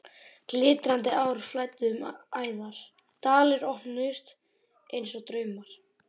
Glitrandi ár flæddu um æðar, dalir opnuðust einsog draumar.